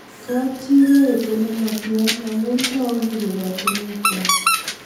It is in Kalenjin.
Kapchii koetu nematia amu tau piik koratinwek kwai